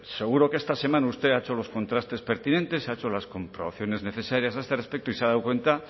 seguro que esta semana usted ha hecho los contrastes pertinentes se ha hecho las comprobaciones necesarias a este respecto y se ha dado cuenta